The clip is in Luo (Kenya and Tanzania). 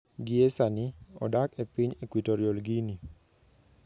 Gie sani, odak e piny Equatorial Guinea.